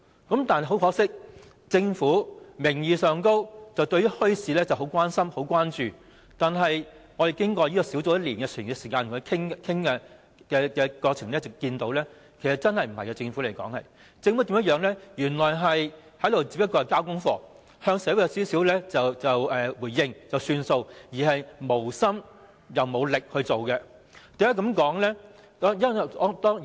然而，很可惜，政府名義上十分關注墟市的發展，但小組委員會與政府經過1年時間的討論，我們在過程中看到政府對此真的並不關心，他們只是交功課，稍為向社會作出回應便算，既無心又無力推行有關墟市的工作。